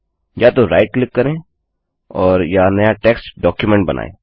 या तो right click करें और या नया टेक्स्ट डाक्युमेन्ट बनाएँ